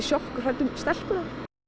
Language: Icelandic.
sjokki og hrædd um stelpuna